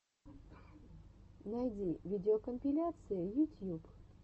найди видеокомпиляции ютьюб